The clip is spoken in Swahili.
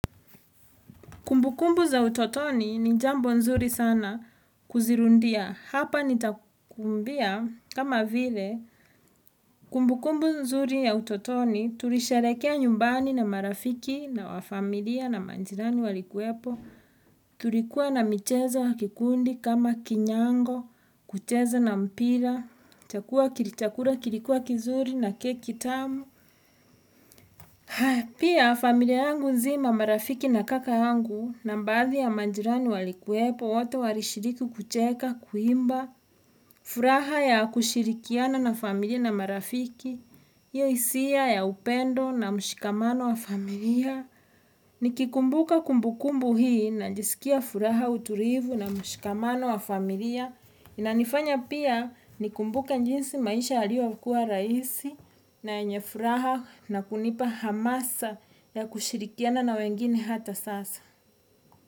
Kumbukumbu za utotoni ni jambo nzuri sana kuzirudia. Hapa nitakuambia kama vile kumbukumbu nzuri ya utotoni tulisherehekea nyumbani na marafiki na wa familia na majirani walikuwepo. Tulikuwa na micheza ya kikundi kama kinyango, kucheza na mpira, chakula kilikuwa kizuri na keki tamu. Pia, familia yangu nzima marafiki na kaka yangu na baadhi ya majirani walikuwepo, wote walishiriki kucheka, kuimba, furaha ya kushirikiana na familia na marafiki, hio hisia ya upendo na mshikamano wa familia. Nikikumbuka kumbukumbu hii najisikia furaha utulivu na mshikamano wa familia. Inanifanya pia nikumbuka jinsi maisha yaliyokuwa rahisi na yenye furaha na kunipa hamasa na kushirikiana na wengine hata sasa.